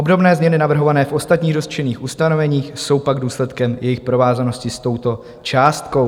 Obdobné změny navrhované v ostatních dotčených ustanoveních jsou pak důsledkem jejich provázanosti s touto částkou.